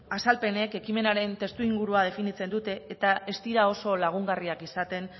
azalpenek ekimenaren testuinguru definitzen dute eta ez dira oso lagungarriak izaten